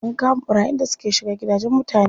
An kama ɓarayin da suke shiga gidajen mutane.